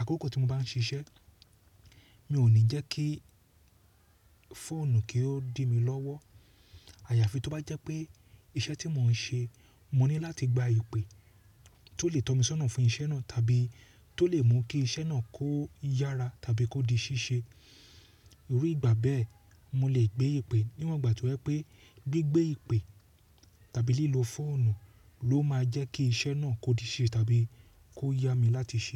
àkókò tí mo bá ń ṣiṣẹ́, mi ò ní jẹ́ kí fóònù kí ó dì mi lọ́wọ́. Àyàfi tó bá jẹ́ pé iṣẹ́ tí mò ń ṣe, mo ní láti gba ìpè tó lè tọ́ mi sọ́nà fún iṣẹ́ náà tàbí tó lè mú kí iṣẹ́ náà kó yára tàbí kó di ṣíṣe. Iru ìgbà bẹ́ẹ̀, mo lè gbé ìpè níwọ̀n ìgbà tí ó jẹ́ pé gbigbé ìpè tàbí lílọ fọ́nù ló máa jẹ́ kí iṣẹ́ náà kó di ṣe tàbí kó yá mi láti ṣe.